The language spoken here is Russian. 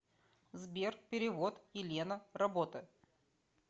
сбер перевод елена работа